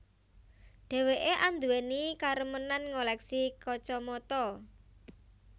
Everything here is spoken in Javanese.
Dheweké anduweni karemenan ngoleksi kacamata